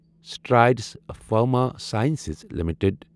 Strides Pharma Science limited